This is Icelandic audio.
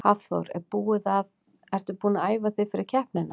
Hafþór: Er búið að, ertu búin að æfa þig eitthvað fyrir keppnina?